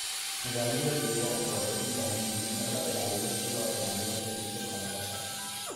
Nidaamyada deegaanka waxay u baahan yihiin in la ilaaliyo si loo ilaaliyo dheelitirka nolosha.